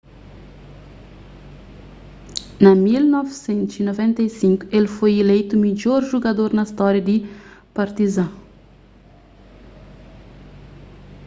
na 1995 el foi ileitu midjor jugador na stória di partizan